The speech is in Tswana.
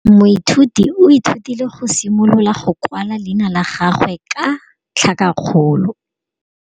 Moithuti o ithutile go simolola go kwala leina la gagwe ka tlhakakgolo.